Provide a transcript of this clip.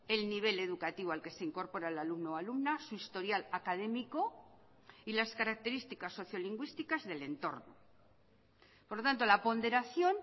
el nivel educativo al que se incorpora el alumno o alumna su historial académico y las características socio lingüísticas del entorno por lo tanto la ponderación